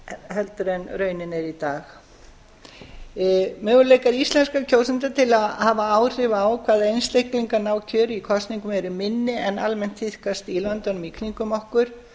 heldur en raunin er í dag möguleikar íslenskra kjósenda til að hafa áhrif á hvaða einstaklingar ná kjöri í kosningum eru minni en almennt tíðkast í löndunum í kringum okkur